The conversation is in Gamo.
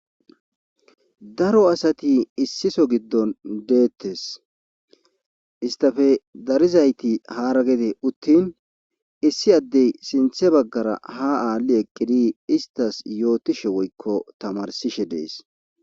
Daro asati issiso giddon deettes istafe darizayti haaragede uttin issi addey sinthe baggara ha aalli eqkidi istas yootishe woykko tamarsishe dees